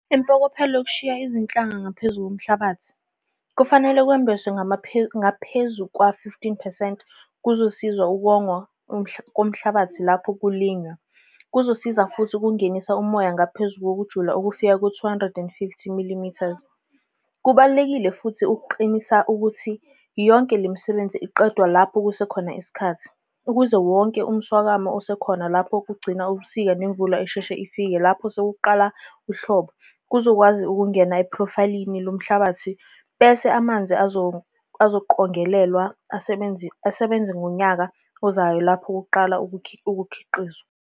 Impokophelo yokushiya izinhlanga ngaphezu komhlabathi - kufanele kwembeswe ngaphezu kwa-15 percent kuzosiza ukongwa komhlabathi lapho kulinywa, kuzosiza futhi ukungenisa umoya ngaphezulu ngokujula okufika ku-250 mm. Kubalulekile futhi ukuqinisa ukuthi yonke le misebenzi iqedwe lapho kusekhona isikhathi, ukuze wonke umswakamo osekhona lapho kugcina ubusika nemvula eshesheshe ifika lapho sekuqala uhlobo kuzokwazi ukungena ephrofayilini lomhlabathi bese amanzi azoqongelelwa asebenze ngonyaka ozayo lapho kuqalwa ukukhiqiza.